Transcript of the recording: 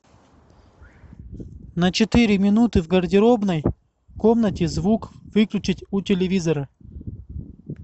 на четыре минуты в гардеробной комнате звук выключить у телевизора